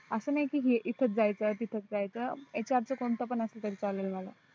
आस नाही की इथच जायच आहे तिथच जायच आहे तर HR च कोणत पण आसल तरी चालेल मला